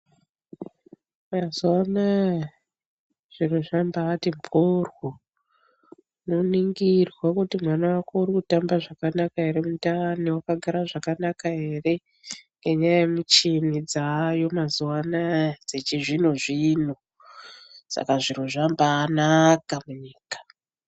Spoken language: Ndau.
Mazuva anaya, zviro zvambaati mhoryo unongirwa kuti mwana wako urikutamba zvakanaka ere mundani, wakagara zvakanaka ere, nemichini yavako mazuva anaya yechizvino-zvino .Saka zviro zvambaanaka munyika.